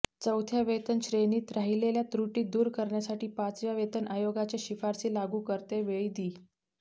चौथ्या वेतन श्रेणीत राहिलेल्या त्रुटी दूर करण्यासाठी पाचव्या वेतन आयोगाच्या शिफारसी लागू करते वेळी दि